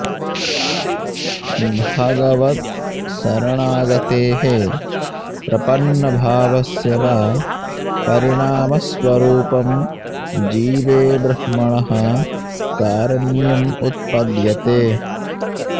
भगवत्शरणागतेः प्रपन्नभावस्य वा परिणामस्वरुपं जीवे ब्रह्मणः कारण्यम् उत्पद्यते